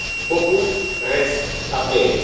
Beaucoup reste à faire.